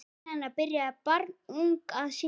Helena byrjaði barnung að syngja.